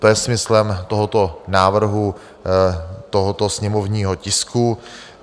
To je smyslem tohoto návrhu, tohoto sněmovního tisku.